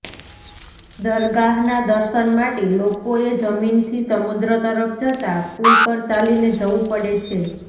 દરગાહના દર્શન માટે લોકોએ જમીનથી સમુદ્ર તરફ જતાં પુલ પર ચાલીને જવું પડે છે